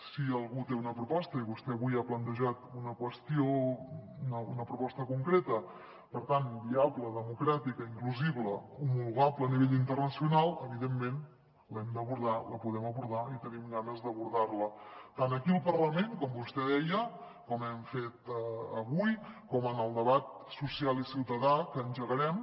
si algú té una proposta i vostè avui ha plantejat una proposta concreta per tant viable democràtica inclusiva homologable a nivell internacional evidentment l’hem d’abordar la podem abordar i tenim ganes d’abordar la tant aquí al parlament com vostè deia com hem fet avui com en el debat social i ciutadà que engegarem